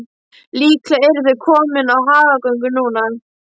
Líklega eru þau komin í hagagöngu núna.